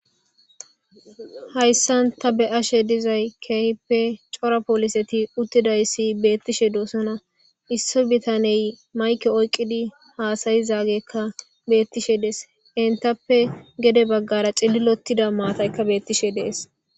Hayissani ta beyashe dizayisi kehipe darro poliseti utidayisi betishe deyosona issi bitaney mayike oyikidi hassayishe detesi enitappe gedde baggara cililotida mattayi desi